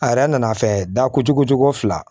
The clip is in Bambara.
A yɛrɛ nana fɛ da kojugu cogo fila